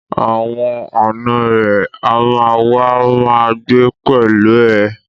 Àwọn ànọ́ rẹ̀ á ma wá ma gbé pẹ̀lú ẹ